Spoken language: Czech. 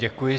Děkuji.